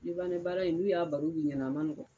Libanɛ baara in n'u y'a baro b'i ɲɛna a ma nɔgɔ.